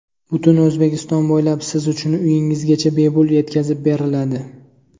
Butun O‘zbekiston bo‘ylab siz uchun uyingizgacha bepul yetkazib beriladi!